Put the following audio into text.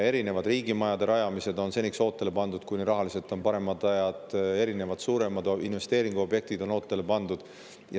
Erinevad riigimajade rajamised on seniks ootele pandud, kuni tulevad rahaliselt paremad ajad, erinevad suuremad investeeringuobjektid on ootele pandud.